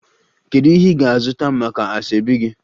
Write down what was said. Kedu ihe ị ga-azụta maka asoebi gị?